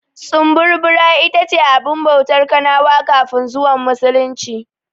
Tsumburbura ita ce abin bautar kanawa kafin zuwan Musulunci.